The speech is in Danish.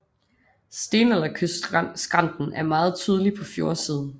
Stenalderkystskrænten er meget tydelig på fjordsiden